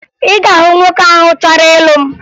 Ị ga-ahụ nwoke ahụ chọrọ ịlụ m